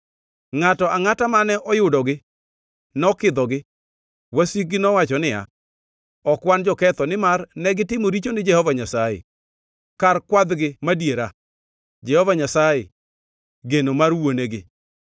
Ngʼato angʼata mane oyudogi nokidhogi; wasikgi nowacho niya, ‘Ok wan joketho, nimar negitimo richo ni Jehova Nyasaye, kar kwadhgi madiera, Jehova Nyasaye, geno mar wuonegi.’